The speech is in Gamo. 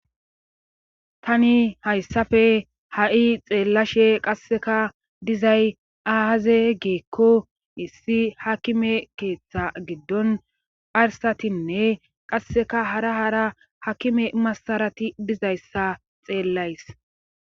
Tani hayssafe ha7i xeellashe qasseka dizay aaze geekko issi hakime keeththa giddon pharsatinne qasseka hara hara hakime masarati dizayssa xeellays